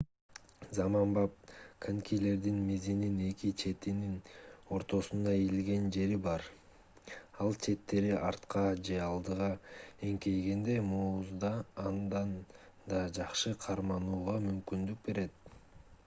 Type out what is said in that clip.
заманбап конькилердин мизинин эки четинин ортосунда ийилген жери бар ал четтери артка же алдыга эңкейгенде музда андан да жакшы карманууга мүмкүндүк берет